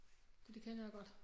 Så det kender jeg godt